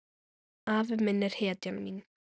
Afi minn er hetjan mín.